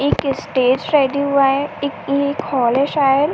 एक stage ready हुआ है। एक ये एक हाल है शायद --